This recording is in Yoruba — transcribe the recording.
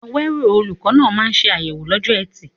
Awero, olùkọ́ náà, máa ń ṣe àyẹ̀wò lọ́jọ́ Ẹtì.